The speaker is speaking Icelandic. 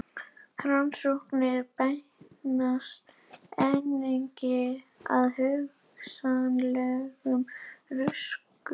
Rannsóknir beinast einnig að hugsanlegum röskunum á taugaboðefnum.